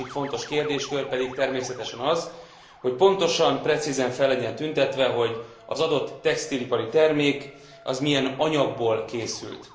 A másik fontos kérdéskör pedig természetesen az, hogy pontosan, precízen fel legyen tüntetve, hogy az adott textilipari termék az milyen anyagból készült.